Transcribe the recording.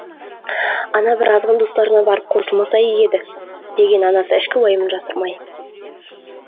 ана бір азғын достарына барып қосылмаса игі еді деген анасы ішкі уайымын жасырмай